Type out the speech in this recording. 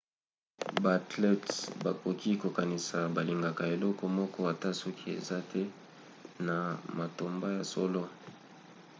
baathlètes bakoki kokanisa balingaka eloko moko ata soki eza te na matomba ya solo